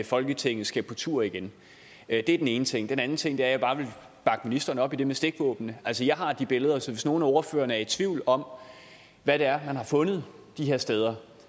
folketinget skal på tur igen det er den ene ting den anden ting er at jeg bare vil bakke ministeren op i det med stikvåben altså jeg har de billeder så hvis nogle af ordførerne er i tvivl om hvad det er man har fundet de her steder